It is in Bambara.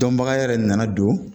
Dɔnbaga yɛrɛ nana don